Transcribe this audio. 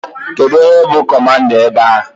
Kedụ onye bụ kọmanda ebe a?